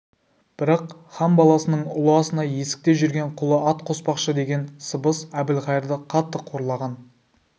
бірақ хан баласының ұлы асына есікте жүрген құлы ат қоспақшы деген сыбыс әбілқайырды қатты қорлаған